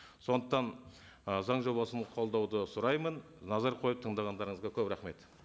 сондықтан ы заң жобасын қолдауды сұраймын назар қойып тыңдағандарыңызға көп рахмет